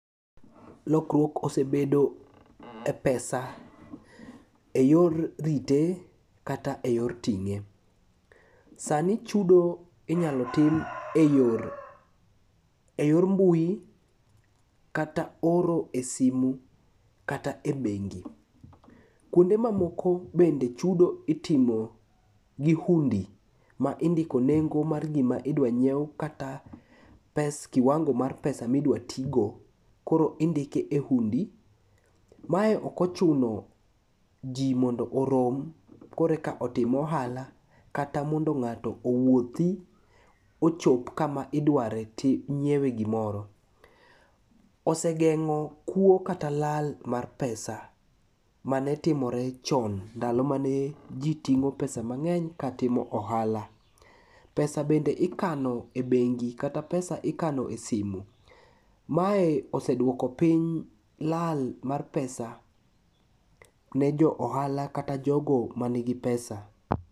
Lokruok osebedo e pesa e yor rite kata e yor ting'e. Sani chudo inyalo tim e yor mbui kata oro e simu kata e bengi. Kuonde mamoko bende chudo itimo gi hundi ma indiko nengo mar gima idwa nyiew kata kiwango mar pesa midwatigo koro indike e hundi. Mae okochuno ji mondo orom koro eka otim ohala kata mondo ng'ato owuothi ochop kama idware nyiewe gimoro. Osegeng'o kuo kata lal mar pesa manetimore chon ndalo mane ji ting'o pesa mang'eny katimo ohala. Pesa bende ikano e bengi kata pesa bende ikano e simu, mae oseduoko piny lal mar pesa ne jo ohala kata jogo manigi pesa.